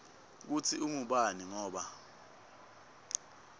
kutsi ungubani ngoba